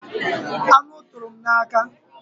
Anụ tụrụ m n’aka